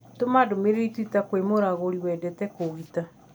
Tũma ndũmĩrĩri twitter kwĩ mũragũri wendete kũũgita.